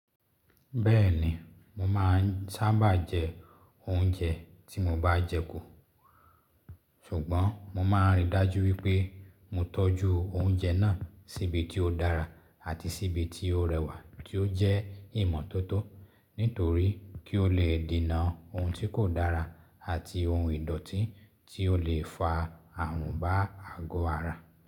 Bẹ́ẹ̀ni, mo máà ń sábà jẹ oúnjẹ tí mo bá jẹ kò, ṣùgbọ́n mo máa n rí i dájú wípé mo tọ́jú oúnjẹ náà síbi tí ó dára àti síbi tí ó rẹwà tí ó jẹ́ ìmọ́tótó, nítorí kí ó lè dinà ohun tí kò dára àti ohun ìdọ̀tí tí ó lè fa ààrùn bá àgọ ara.